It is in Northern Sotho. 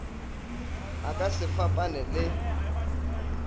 e ka se fapane le